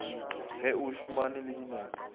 ge o šomane le dinepo